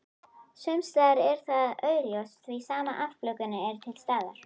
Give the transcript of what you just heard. Sumsstaðar er það augljóst því sama afbökunin er til staðar.